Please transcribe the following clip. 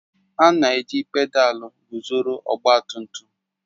A na-eji pedalu guzoro ọgba tum tum